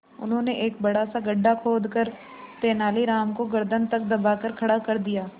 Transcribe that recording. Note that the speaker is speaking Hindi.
उन्होंने एक बड़ा सा गड्ढा खोदकर तेलानी राम को गर्दन तक दबाकर खड़ा कर दिया